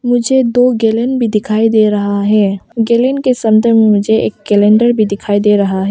मुझे दो गैलन भी दिखाई दे रहा है गैलन के संदर्भ में मुझे एक कैलेंडर भी दिखाई दे रहा है।